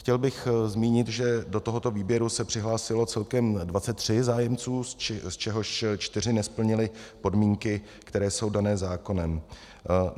Chtěl bych zmínit, že do tohoto výběru se přihlásilo celkem 23 zájemců, z čehož čtyři nesplnili podmínky, které jsou dané zákonem.